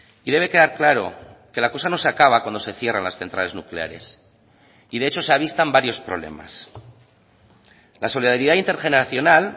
y debe quedar claro que la cosa no se acaba cuando se cierran las centrales nucleares y de hecho se avistan varios problemas la solidaridad intergeneracional